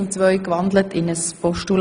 Das ist nicht der Fall.